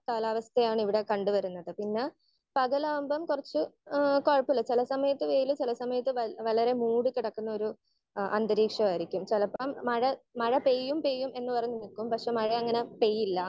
Speaker 1 കാലാവസ്ഥയാണ് ഇവിടെ കണ്ടു വരുന്നത്. പിന്നെ പകലാവുമ്പോ കുറച്ചു ഏഹ് കുഴപ്പല്ല ചില സമയത്ത് വെയിലും ചില സമയത്ത് വളരെ മൂടി കിടക്കുന്ന ഒരു അന്തരീക്ഷമായിരിക്കും. ചിലപ്പം മഴ മഴ പെയ്യും പെയ്യും എന്ന് പറഞ്ഞ് നിക്കും. പക്ഷെ മഴ അങ്ങനെ പെയ്യില്ല.